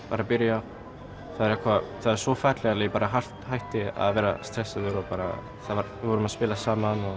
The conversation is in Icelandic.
var að byrja þá var það svo fallegt að ég hætti að vera stressaður og bara við vorum að spila saman og